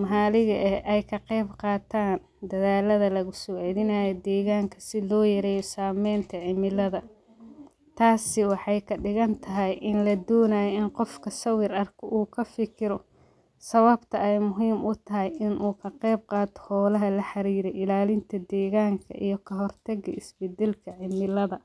mahaaliga eh ee kaqey qaatan dadaalada lagu saacidinayo deeganka siloo yareeyo saameynta cimilada taasi waxey kadhigantahay in la doonayo in qofka sawir arko uu kafikiro sababta ay muhiim utahay in qayb qaato hoolaha la xariira ilaalinta deegan iyo ka hortaka isbedalka cimilada.